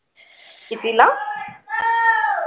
कितीला